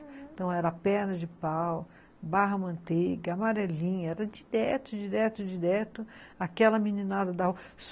Então era perna de pau, barra manteiga, amarelinha, era direto, direto, direto aquela meninada da rua.